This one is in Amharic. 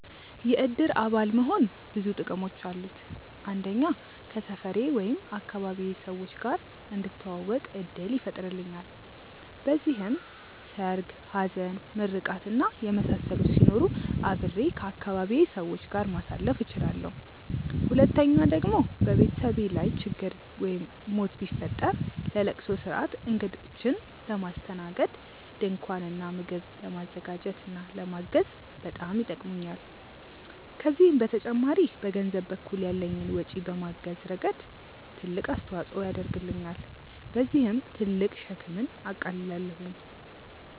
የእድር አባል መሆን ብዙ ጥቅሞች አሉት። አንደኛ ከሰፈሬ/ አካባቢዬ ሰዎች ጋር እንድተዋወቅ እድል ይፈጥርልኛል። በዚህም ሰርግ፣ ሀዘን፣ ምርቃት እና የመሳሰሉት ሲኖሩ አብሬ ከአካባቢዬ ሰዎች ጋር ማሳለፍ እችላለሁ። ሁለተኛ ደግሞ በቤተሰቤ ላይ ችግር ወይም ሞት ቢፈጠር ለለቅሶ ስርአት፣ እግዶችን ለማስተናገድ፣ ድንኳን እና ምግብ ለማዘጋጀት እና ለማገዝ በጣም ይጠቅሙኛል። ከዚህም በተጨማሪ በገንዘብ በኩል ያለኝን ወጪ በማገዝ ረገድ ትልቅ አስተዋፅኦ ያደርግልኛል። በዚህም ትልቅ ሸክምን አቃልላለሁኝ።